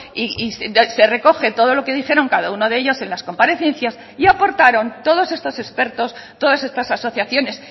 y se recoge todo lo que dijeron cada uno de ellos en las comparecencias y aportaron todos estos expertos todas estas asociaciones